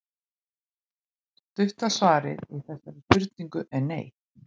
Stutta svarið við þessari spurningu er nei.